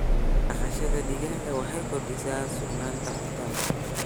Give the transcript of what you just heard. Dhaqashada digaaga waxay kordhisaa sugnaanta cuntada.